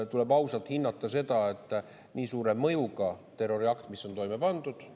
Tuleb ausalt hinnata seda, et see on väga suure mõjuga terroriakt, mis on toime pandud.